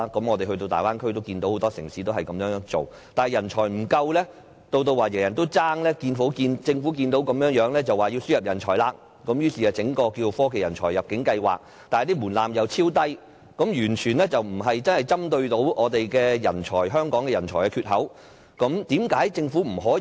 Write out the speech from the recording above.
我們前往大灣區參觀，也看到很多城市這樣做，但政府看到人才不足，以至人人競爭，便說要輸入人才，並且推出科技人才入境計劃，但門檻超低，完全無法針對香港人才缺口的問題。